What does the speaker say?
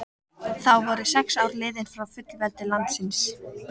Þá voru sex ár liðin frá fullveldi landsins.